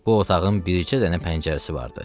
Bu otağın bircə dənə pəncərəsi vardı.